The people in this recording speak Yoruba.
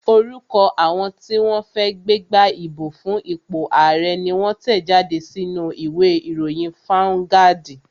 Orúkọ àwọn tí wọ́n fẹ́ gbégbá ìbò fún ipò ààrẹ́ ni wón tẹ̀ jáde sínú u ìwé ìròyìn fáuńgádì